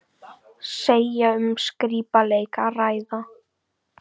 Segja um skrípaleik að ræða